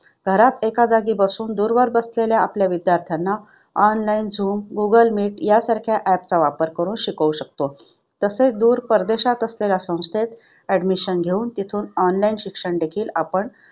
घरात एका जागी बसून दूरवर बसलेल्या आपल्या विद्यार्थ्यांना online झूम, गुगल मीट यासारख्या app चा वापर करून शिकवू शकतो. तसेच दूर परदेशात असलेल्या संस्थेत admission घेऊन तिथून online शिक्षण देखील आपण